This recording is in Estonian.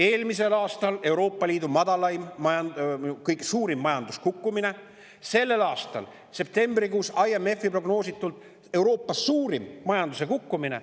Eelmisel aastal Euroopa Liidu kõige suurem majanduse kukkumine, ka selle aasta septembrikuus oli IMF-i prognoosi kohaselt meil Euroopa suurim majanduse kukkumine.